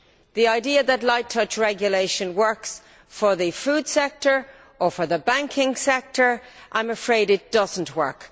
The idea that light touch regulation works for the food sector or for the banking sector I am afraid it does not work.